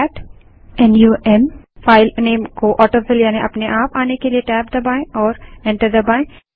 cat numफाइल name को autofill यानि अपने आप आने के लिए टैब दबायें और एंटर दबायें